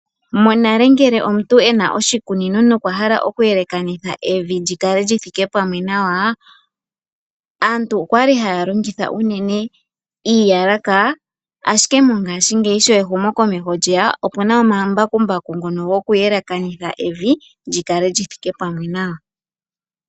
Monale, ngele omuntu okuna oshi kunino, nokwa hala oku yelekanitha Evi li kale li thike pamwe nawa, aantu okwali haya longitha unene iigalaka, ashike mongashingeyi sho ehumo komeho lyeya, opuna omambakumbaku ngono haga yelekanitha nawa evi, li kale lyi thike pamwe nawa.